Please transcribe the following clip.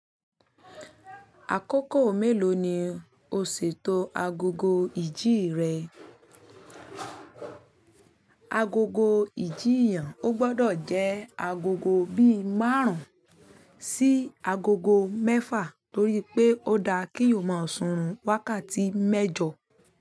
Àkókò mélòó ni o ṣètò agogo ìjì rẹ? Agogo ìjì èèyàn ó gbọdọ̀ jẹ́ agogo bíi márùn-ún sí agogo mẹ́fà torí pé ó dá kí o máa sùn wákàtí mẹ́jọ.